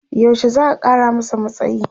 yaushe za'a Kara masa matsayi?